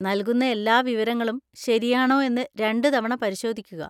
നൽകുന്ന എല്ലാ വിവരങ്ങളും ശരിയാണോ എന്ന് രണ്ടുതവണ പരിശോധിക്കുക.